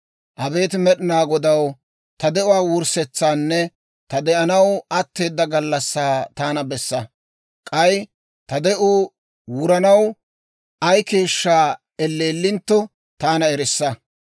«Abeet Med'inaa Godaw, ta de'uwaa wurssetsaanne ta de'anaw atteedda gallassaa taana bessa. K'ay ta de'uu wuranaw ay keeshshaa elleellintto, taana erissa.